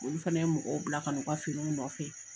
Olu fɛnɛ ye mɔgɔw bila ka na u ka finiw nɔfɛ.